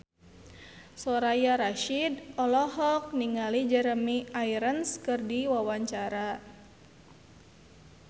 Soraya Rasyid olohok ningali Jeremy Irons keur diwawancara